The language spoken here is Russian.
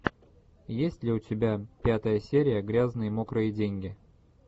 есть ли у тебя пятая серия грязные мокрые деньги